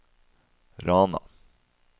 Rana